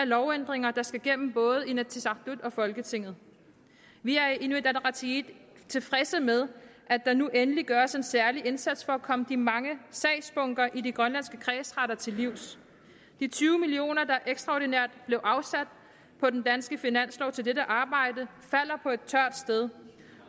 lovændringer der skal gennem både inatsisartut og folketinget vi er i inuit ataqatigiit tilfredse med at der nu endelig gøres en særlig indsats for at komme de mange sagsbunker i de grønlandske kredsretter til livs de tyve million kr der ekstraordinært blev afsat på den danske finanslov til dette arbejde falder på et tørt sted